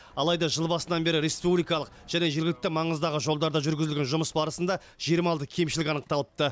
алайда жыл басынан бері республикалық және жергілікті маңыздағы жолдарда жүргізілген жұмыс барысында жиырма алты кемшілік анықталыпты